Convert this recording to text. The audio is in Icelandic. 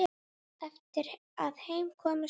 Eftir að heim kom stóðu